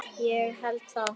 Ég held það.